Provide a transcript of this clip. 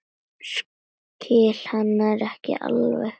Skil hann ekki alveg.